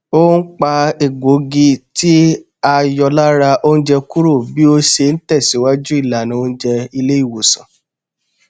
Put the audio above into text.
ó n pa egbògi tí a yọ lára oúnjẹ kúrò bí ó ṣe n tẹsìwájú ìlànà oùnjẹ ilé ìwòsàn